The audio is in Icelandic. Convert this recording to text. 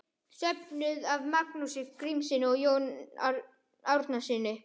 Söfnuð af Magnúsi Grímssyni og Jóni Árnasyni.